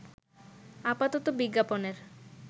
আপাতত বিজ্ঞাপনের